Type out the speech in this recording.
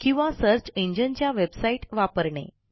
किंवा सर्च इंजिनच्या वेबसाईट वापरणे